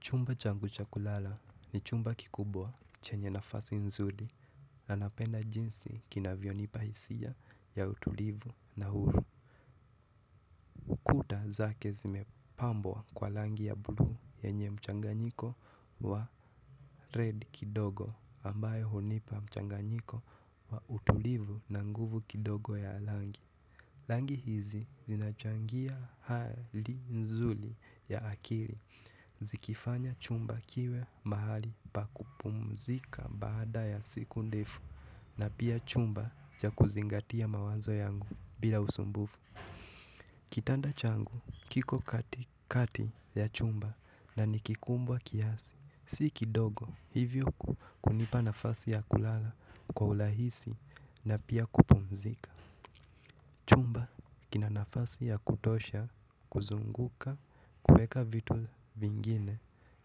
Chumba changu cha kulala ni chumba kikubwa chenye nafasi nzuri na napenda jinsi kinavyonipa hisia ya utulivu na kuta zake zimepambwa kwa rangi ya bluu yenye mchanganyiko wa red kidogo ambayo hunipa mchanganyiko wa utulivu na nguvu kidogo ya rangi. Rangi hizi zinachangia hali nzuri ya akili zikifanya chumba kiwe mahali pa kupumzika baada ya siku ndefu na pia chumba cha kuzingatia mawazo yangu bila usumbufu kitanda changu kiko katikati ya chumba na ni kikubwa kiasi si kidogo hivyo kunipa nafasi ya kulala kwa urahisi na pia kupumzika kina nafasi ya kutosha kuzunguka kuweka vitu vingine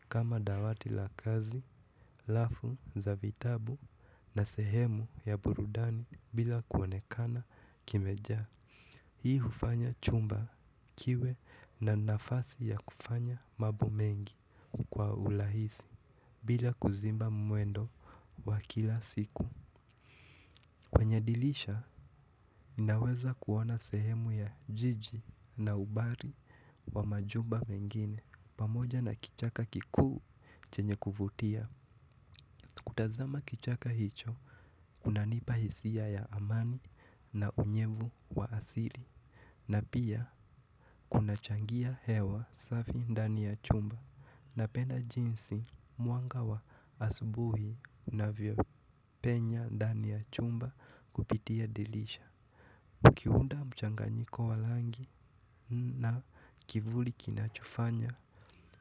kama dawati la kazi, lafu za vitabu na sehemu ya burudani bila kuonekana kimejaa. Hii hufanya chumba kiwe na nafasi ya kufanya mambo mengi kwa urahisi bila kuziba mwendo wa kila siku. Kwenye dirisha, ninaweza kuona sehemu ya jiji na umbali wa majumba mengine. Pamoja na kichaka kikuu chenye kuvutia. Kutazama kichaka hicho, kunanipa hisia ya amani na unyevu wa asili. Na pia, kunachangia hewa safi ndani ya chumba. Napenda jinsi mwanga wa asubuhi unavyopenya ndani ya chumba kupitia dirisha. Ukiunda mchanganyiko wa rangi na kivuli kinachofanya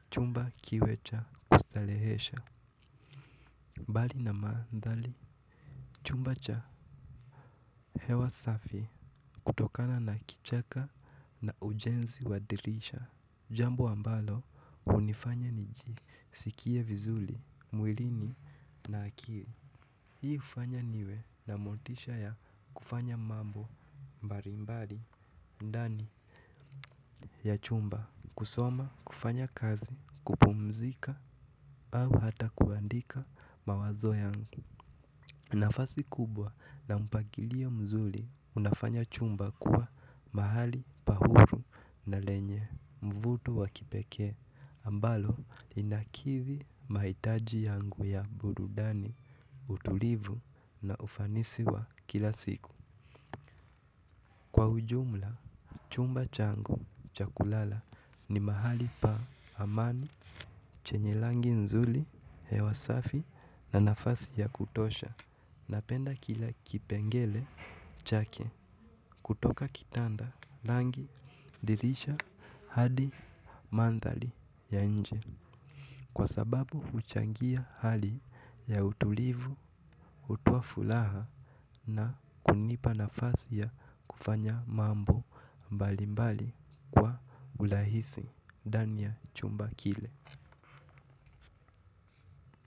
chumba kiwe cha kustarehesha mbali na manthari chumba cha hewa safi kutokana na kichaka na ujenzi wa dirisha jambo ambalo hunifanya nijisikie vizuli mwilini na akili hii hufanya niwe na motisha ya kufanya mambo mbalimbali ndani ya chumba kusoma, kufanya kazi, kupumzika au hata kuandika mawazo yangu nafasi kubwa na mpangilio mzuri unafanya chumba kuwa mahali pa huru na lenye mvuto wa kipekee ambalo linakidhi mahitaji yangu ya burudani utulivu na ufanisi wa kila siku Kwa ujumla, chumba changu cha kulala ni mahali pa amani chenye rangi nzuri, hewa safi na nafasi ya kutosha. Napenda kila kipengele chake kutoka kitanda rangi dirisha hadi mandhari ya nje. Kwa sababu huchangia hali ya utulivu, hutoa furaha na kunipa nafasi ya kufanya mambo mbali mbali. Kwa urahisi, ndani ya chumba kile.